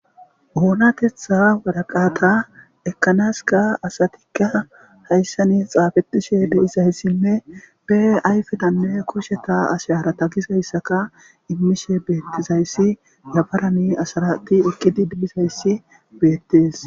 oonatetha waraqaata ekkanaska asatikka hayssanis xaafetishe deizayssinne be ayfetanne kusheta asharata gizayssaka immishe beettizayssi yabarani asarati eqqidi de7izayssi beettees